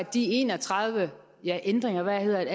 de en og tredive ændringer ja eller hvad